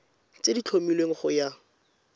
tse di tlhomilweng go ya